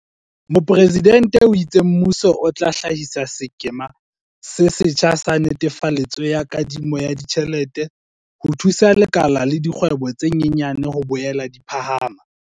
Mopresidente o itse mmuso o tla hlahisa sekema se setjha sa netefaletso ya kadimo ya ditjhelete ho thusa lekala la dikgwebo tse nyenyane ho boela di phahama.